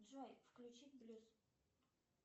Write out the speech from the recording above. джой включить блюз